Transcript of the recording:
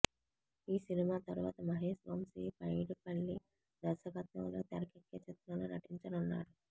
ఈ సినిమా తరువాత మహేష్ వంశి పైడిపల్లి దర్శకత్వంలో తెరకెక్కే చిత్రంలో నటించనున్నాడు